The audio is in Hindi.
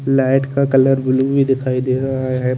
लाईट का कलर ब्लू ही दिखाई दे रहा है।